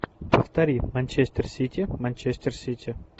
повтори манчестер сити манчестер сити